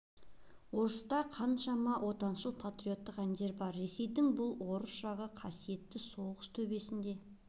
орыста қаншама отаншыл патриоттық әндері бар ресейдің бұл орыс жағы қасиетті соғыс төбесінде